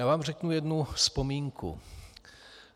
Já vám řeknu jednu vzpomínku.